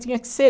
Tinha que ser.